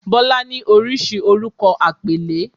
"Bola"ni oríṣi orúkọ àpèlé.